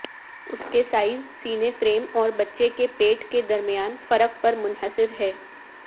اس کے سائز سینے فریم اور بچے کے پیٹ کے درمیان فرق پر منحصر ہے